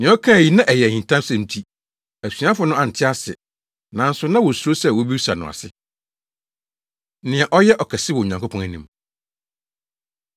Nea ɔkaa yi na ɛyɛ ahintasɛm nti, asuafo no ante ase. Nanso na wosuro sɛ wobebisa no ase. Nea Ɔyɛ Ɔkɛse Wɔ Onyankopɔn Anim